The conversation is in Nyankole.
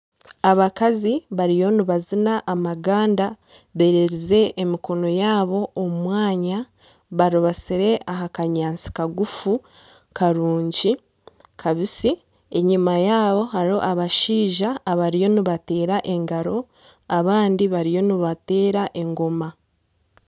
Abakazi bariyo nibazina amaganda bererize emikono yaabo omu mwanya barubatsire aha kanyaantsi kagufu karungi kabitsi enyima yaabo hariho abashaija abariyo nibateera engaro abandi bariyo nibateera engoma.